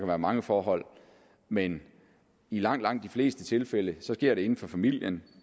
være mange forhold men i langt langt de fleste tilfælde sker det inden for familien